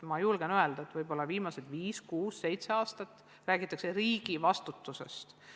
Ma julgen öelda, et võib-olla viimased viis-kuus-seitse aastat räägitakse riigi vastutusest.